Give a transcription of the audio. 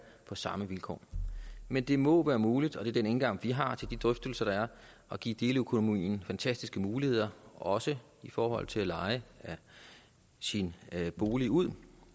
på samme vilkår men det må være muligt og det er den indgang vi har til de drøftelser der er at give deleøkonomien fantastiske muligheder også i forhold til at leje sin bolig ud